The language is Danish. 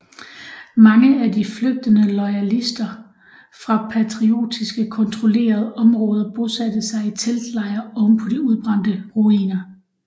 Mange af de de flygtende loyalister fra patriotiske kontrollerede områder bosatte sig i teltlejre ovenpå de udbrændte ruiner